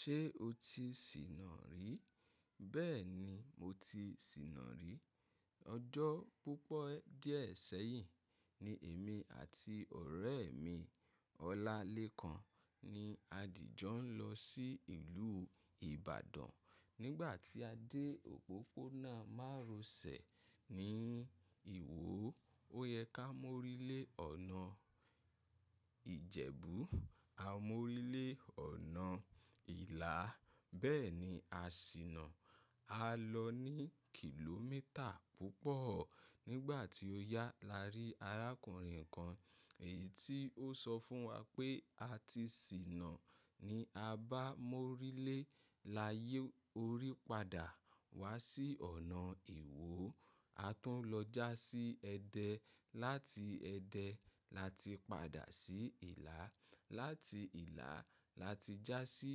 Ṣé o ti sìnà rí? Bẹ́ẹ̀ ni mo ti sìnà rí. Ọjọ́ púpọ̀ díẹ̀ sẹ́yìn ni èmi àti ọ̀rẹ́ mi Ọlálékan ni a dìjọ nlọ sí ìlú Ibadan. Nígbà tí a dé òpópónà Marosẹ̀ ní ìwo, ó yẹ ká mo orílé ọ̀nà Ìjẹ̀bú, a mo orílé ọ̀nà Ìlà, bẹ́ẹ̀ ni a sìnà. A lọ ní kìlómítà púpọ̀. Nígbà tí ó yá, la rí arákùnrin kan, èyí tí ó sọ fún wa pé a ti sìnà ni. A bá a mó orílé, la yí orí padà wá sí ọ̀nà ìwo. A tún lọ já sí Ẹdẹ, láti Ẹdẹ la ti padà sí Ìlà, láti Ìlà la ti já sí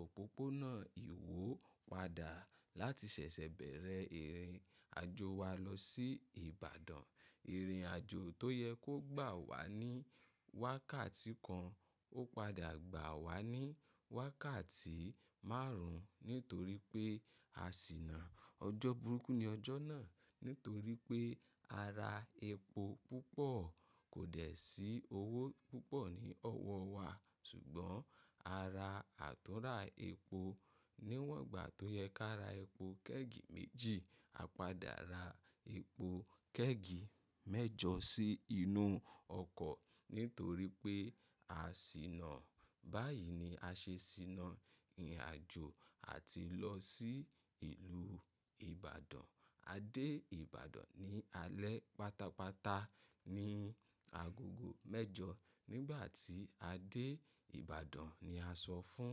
òpópónà ìwo padà. Láti ṣẹ̀ṣẹ̀ bẹ̀rẹ̀ ìrìnàjò wa lọ sí Ibadan. Ìrìnàjò tó yẹ kó gbà wá ní wákàtí kan, ó padà gbà wá ní wákàtí márùn-ún nítorí pé a sìnà. Ọjọ́ burúkú ni ọjọ́ náà nítorí pé a ra epo púpọ̀, kò dẹ̀ sí owó púpọ̀ ní ọwọ́ wa ṣùgbọ́n a ra àtúnrà epo. Níwọ̀n gbà tó yẹ ká ra epo kẹ́ẹ̀gì méjì, a padà ra epo kẹ́ẹ̀gì mẹ́jọ sí inú ọkọ̀ nítorí pé a sìnà. Báyìí ni a ṣe sìnà ìrìnàjò àti lọ sí ìlú Ibadan. A dé Ibadan ní alẹ́ pátápátá ní agogo mẹ́jọ. Nígbà tí a dé Ibadan ni a sọ fún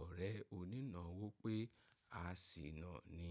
ọ̀rẹ́ onínáwó pé a sìnà ni.